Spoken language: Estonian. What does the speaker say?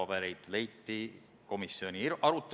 Hea ettekandja!